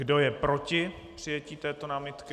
Kdo je proti přijetí této námitky?